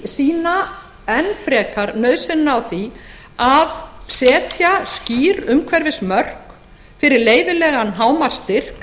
sýna enn frekar nauðsynina á því að setja skýr umhverfismörk fyrir leyfilegan hámarksstyrk